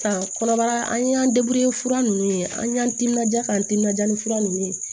Ka kɔnɔbara an y'an fura ninnu ye an y'an timinanja k'an timinja ni fura nunnu ye